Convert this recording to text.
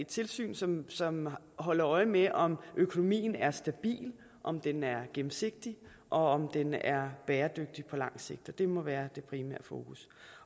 tilsyn som som holder øje med om økonomien er stabil om den er gennemsigtig og om den er bæredygtig på langt sigt det må være det primære fokus